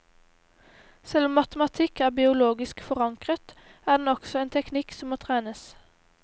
Selv om matematikk er biologisk forankret, er den også en teknikk som må trenes.